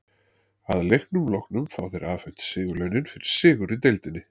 Að leiknum loknum fá þeir afhent sigurlaunin fyrir sigur í deildinni.